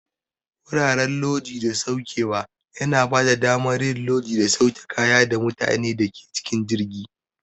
Wuraren Lodi da Saukewa yana bada damar yin lodi da sauke kaya da mutanen da ke cikin jirgi.